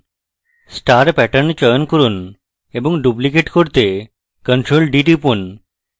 star pattern চয়ন করুন এবং duplicate করতে ctrl + d টিপুন